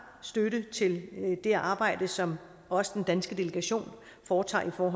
støtte til det arbejde som også den danske delegation foretager for